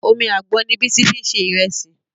Omi àgbọn ni Bísí fi ṣe ìrẹsì